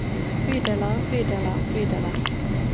bydeler bydeler bydeler